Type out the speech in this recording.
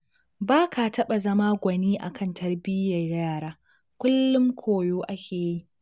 Ba ka taɓa zama gwani a kan tarbiyyar yara, kullum koyo ake yi